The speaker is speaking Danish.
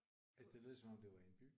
Altså det lød jo som om det var i en by